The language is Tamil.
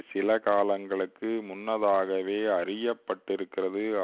சில காலங்களுக்கு முன்னதாகவே அறியப்பட்டிருக்கிறது